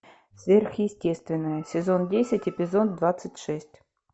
сверхъестественное сезон десять эпизод двадцать шесть